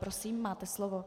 Prosím, máte slovo.